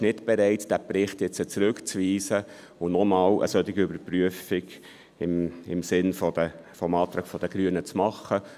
Die EVP ist nicht bereit, diesen Bericht zurückzuweisen und nochmals eine solche Überprüfung im Sinne des Antrags der Grünen vorzunehmen.